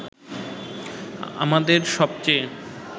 আমাদের সবচে